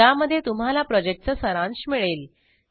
ज्यामध्ये तुम्हाला प्रॉजेक्टचा सारांश मिळेल